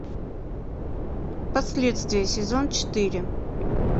последствия сезон четыре